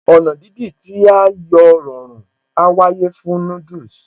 Ọ̀nà dídì tí a yóò rọrùn á wáyé fún noodles